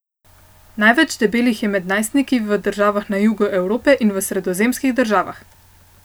Največ debelih je med najstniki v državah na jugu Evrope in v sredozemskih državah.